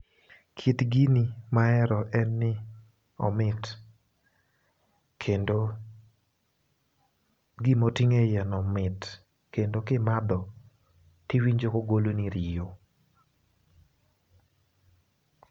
Kit gini ma ahero en ni omit kendo gimoting'e iye no mit kendo kimadho tiwinjo kogolo ni riyo.